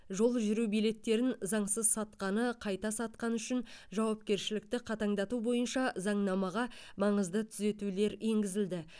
жол жүру билеттерін заңсыз сатқаны қайта сатқаны үшін жауапкершілікті қатаңдату бойынша заңнамаға маңызды түзетулер енгізілді